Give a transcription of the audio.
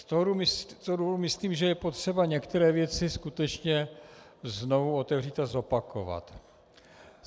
Z toho důvodu myslím, že je potřeba některé věci skutečně znovu otevřít a zopakovat.